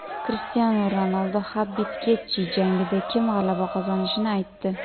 Krishtianu Ronaldu HabibGetji jangida kim g‘alaba qozonishini aytdi.